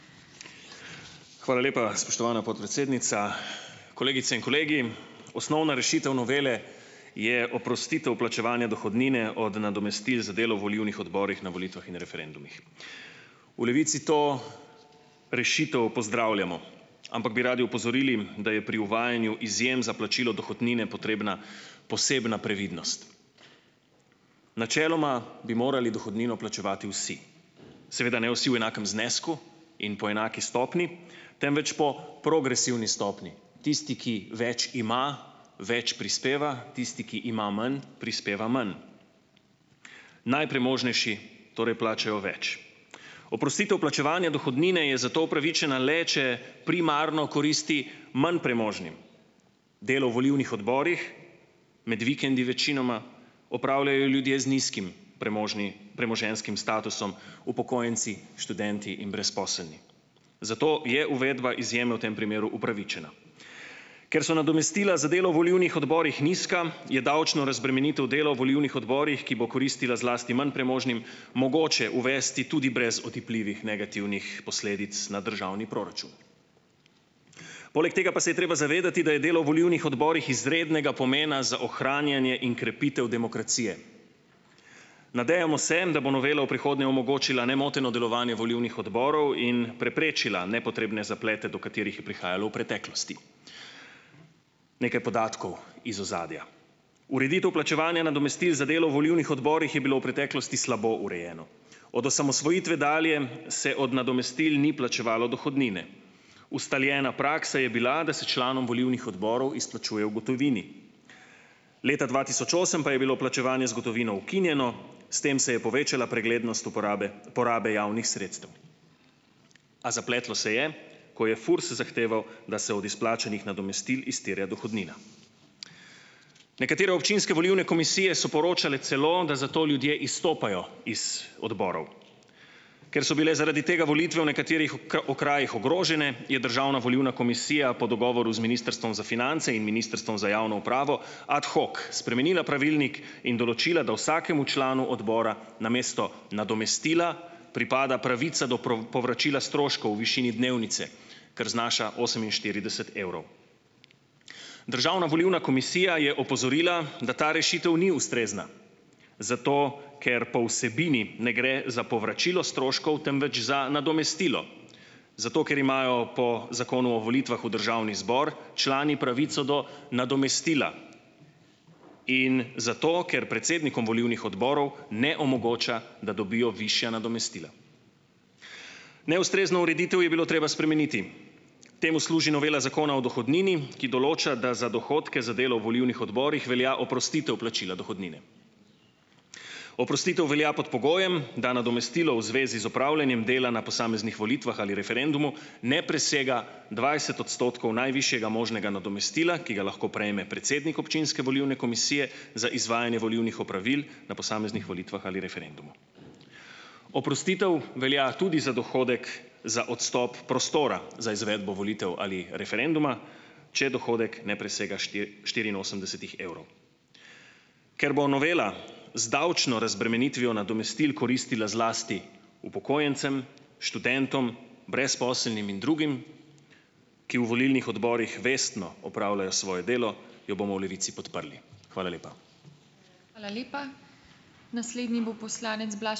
Hvala lepa, spoštovana podpredsednica. Kolegice in kolegi! Osnovna rešitev novele je oprostitev plačevanja dohodnine od nadomestil za delo volilnih odborih na volitvah in referendumih. V Levici to rešitev pozdravljamo, ampak bi radi opozorili, da je pri uvajanju izjem za plačilo dohodnine potrebna posebna previdnost. Načeloma bi morali dohodnino plačevati vsi. Seveda ne vsi v enakem znesku in po enaki stopnji, temveč po progresivni stopnji, tisti, ki več ima večj prispeva, tisti, ki ima manj, prispeva manj. Najpremožnejši torej plačajo več. Oprostitev plačevanja dohodnine je zato upravičena le, če primarno koristi manj premožnim. Delo v volilnih odborih, med vikendi večinoma, opravljajo ljudje z nizkim premoženjskim statusom, upokojenci, študenti in brezposelni. Zato je uvedba izjeme v tem primeru upravičena. Ker so nadomestila za delo v volilnih odborih nizka, je davčno razbremenitev delo v volilnih odborih, ki bo koristila zlasti manj premožnim, mogoče uvesti tudi brez otipljivih negativnih posledic na državni proračun. Poleg tega pa se je treba zavedati, da je delo v volilnih odborih izrednega pomena za ohranjanje in krepitev demokracije. Nadejamo se, da bo novela v prihodnje omogočila nemoteno delovanje volilnih odborov in preprečila nepotrebne zaplete, do katerih je prihajalo v preteklosti. Nekaj podatkov iz ozadja. Ureditev plačevanja nadomestil za delo v volilnih odborih je bilo v preteklosti slabo urejeno. Od osamosvojitve dalje se od nadomestil ni plačevalo dohodnine. Ustaljena praksa je bila, da se članom volilnih odborov izplačuje v gotovini. Leta dva tisoč osem pa je bilo plačevanje z gotovino ukinjeno, s tem se je povečala preglednost uporabe porabe javnih sredstev. A zapletlo se je, ko je FURS zahteval, da se od izplačanih nadomestil izterja dohodnina. Nekatere občinske volilne komisije so poročale celo, da zato ljudje izstopajo iz odborov. Ker so bile zaradi tega volitve v nekaterih okrajih ogrožene, je državna volilna komisija po dogovoru z Ministrstvom za finance in Ministrstvom za javno upravo ad hoc spremenila pravilnik in določila, da vsakemu članu odbora namesto nadomestila pripada pravica do povračila stroškov v višini dnevnice, kar znaša oseminštirideset evrov. Državna volilna komisija je opozorila, da ta rešitev ni ustrezna, zato ker po vsebini ne gre za povračilo stroškov, temveč za nadomestilo, zato ker imajo po Zakonu o volitvah v državni zbor člani pravico do nadomestila in zato ker predsednikom volilnih odborov ne omogoča, da dobijo višja nadomestila. Neustrezno ureditev je bilo treba spremeniti. Temu služi novela Zakona o dohodnini, ki določa, da za dohodke za delo v volilnih odborih velja oprostitev plačila dohodnine. Oprostitev velja pod pogojem, da nadomestilo v zvezi z opravljanjem dela na posameznih volitvah ali referendumu ne presega dvajset odstotkov najvišjega možnega nadomestila, ki ga lahko prejme predsednik občinske volilne komisije za izvajanje volilnih opravil na posameznih volitvah ali referendumu. Oprostitev velja tudi za dohodek za odstop prostora za izvedbo volitev ali referenduma, če dohodek ne presega štiriinosemdesetih evrov. Ker bo novela z davčno razbremenitvijo nadomestil koristila zlasti upokojencem, študentom, brezposelnim in drugim, ki v volilnih odborih vestno opravljajo svoje delo, jo bomo v Levici podprli. Hvala lepa.